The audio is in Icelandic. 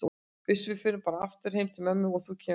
Uss, við förum bara aftur heim til ömmu og þú kemur með.